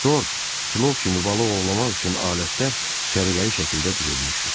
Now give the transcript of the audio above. Tor, kilov kimi balıq ovlamaq üçün alətlər səliqəli şəkildə düzülmüşdü.